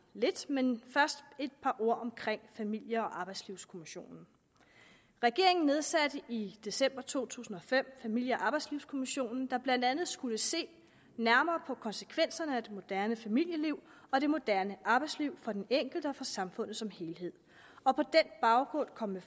lidt men først et par ord om familie og arbejdslivskommissionen regeringen nedsatte i december to tusind og fem familie og arbejdslivskommissionen der blandt andet skulle se nærmere på konsekvenserne af det moderne familieliv og det moderne arbejdsliv for den enkelte og for samfundet som helhed og på den baggrund komme